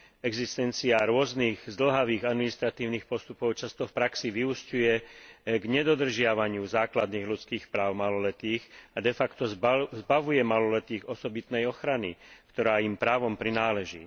Existencia rôznych zdĺhavých administratívnych postupov často v praxi vyúsťuje k nedodržiavaniu základných ľudských práv maloletých a defacto zbavuje maloletých osobitnej ochrany, ktorá im právom prináleží.